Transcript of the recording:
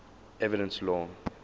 evidence law